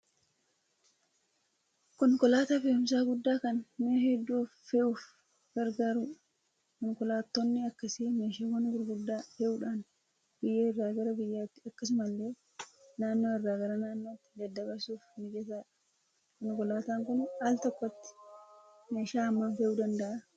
Konkolaataa fe'umsaa guddaa kan mi'a hedduu fe'uuf gargaaru dha. Konkolaattonni akkasii meeshaawwan gurgguddaa fe'uudhaan biyya irraa gara biyyaatti akkasuma illee naannoo irraa gara naannootti daddabarsuuf mijataa dha. Konkolaataan kun altokkotti meeshaa hammam fe'uu danda'a ?